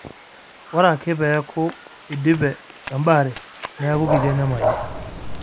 Ore ake pee eeku eidipe Embaare neeku kiti enyamali.